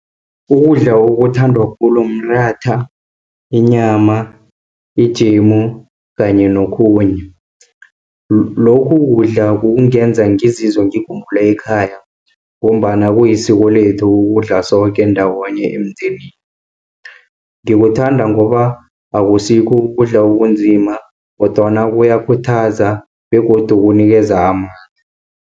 Ukudla okuthandwa khulu mratha, inyama, ijemu kanye nokhunye. Lokhu kudla kungenza ngizizwe ngikhumbule ekhaya, ngombana kulisiko lethu ukudla soke ndawonye emndenini. Ngiwuthanda ngoba akusikho kudla okunzima, kodwana kuyakhuthaza begodu kunikeza amandla.